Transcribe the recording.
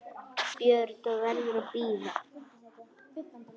BJÖRN: Það verður að bíða.